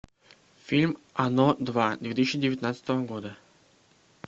фильм оно два две тысячи девятнадцатого года